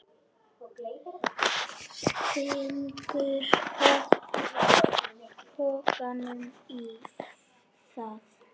Stingur pokanum í það.